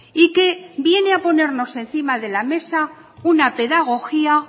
y que viene a ponernos encima de la mesa una pedagogía